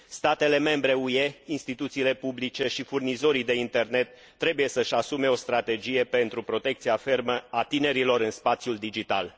Statele membre UE, instituțiile publice și furnizorii de internet trebuie să își asume o strategie pentru protecția fermă a tinerilor în spațiul digital.